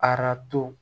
Arato